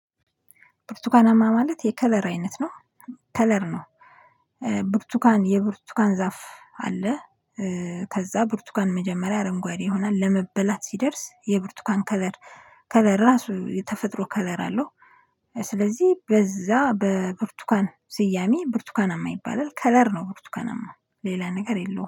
ብርቱካናማ ማለት የከለር አይነት ነው ከለር ነው። ብርቱካን የብርቱካን ዛፍ አለ። ከዛ ብርቱካን መጀመሪያ አረንጓዴ ይሆናል ለመበላት ሲደርስ የብርቱካን ከለር ከለር ራሱ የተፈጥሮ ከለር አለው። ስለዚህ በዛ በብርቱካን ስያሜ ብርቱካናማ ይባላል ከለር ነው። ብርቱካናማ ሌላ ነገር የለውም